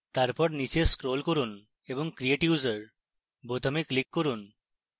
তারপর নীচে scroll করুন এবং create user বোতামে click করুন